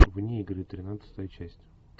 вне игры тринадцатая часть